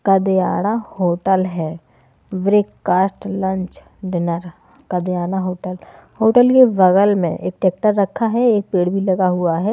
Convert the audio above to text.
Kadiyada hotel है breakfast lunch dinner कादियाना hotel hotel के बगल में एक ट्रैक्टर रखा है एक पेड़ भी लगा हुआ है।